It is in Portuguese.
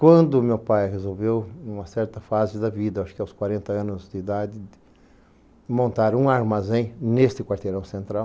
Quando o meu pai resolveu, em uma certa fase da vida, acho que aos quarenta anos de idade, montar um armazém neste quarteirão central,